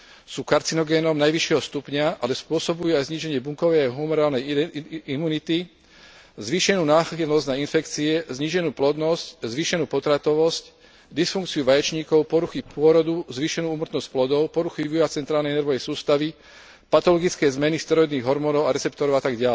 Sú karcinogénom najvyššieho stupňa, ale spôsobujú aj zníženie bunkovej a hormonálnej imunity, zvýšenú náchylnosť na infekcie, zníženú plodnosť, zvýšenú potratovosť, dysfunkciu vaječníkov, poruchy pôrodu, zvýšenú úmrtnosť plodov, poruchy vývoja centrálnej nervovej sústavy, patologické zmeny steroidných hormónov a receptorov atď.